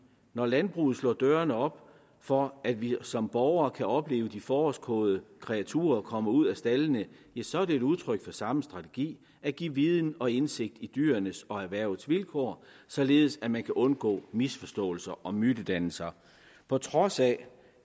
når landbruget slår døren op for at vi som borgere kan opleve de forårskåde kreaturer komme ud af staldene så er det et udtryk for samme strategi at give viden og indsigt i dyrenes og erhvervets vilkår således at man kan undgå misforståelser og mytedannelser på trods af